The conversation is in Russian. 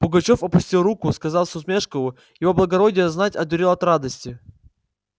пугачёв опустил руку сказав с усмешкою его благородие знать одурел от радости